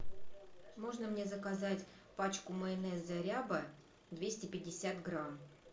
можно мне заказать пачку майонеза ряба двести пятьдесят грамм